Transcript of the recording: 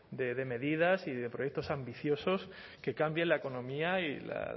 de medidas y de proyectos ambiciosos que cambien la economía